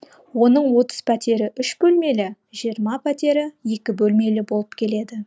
оның отыз пәтері үш бөлмелі жиырма пәтері екі бөлмелі болып келеді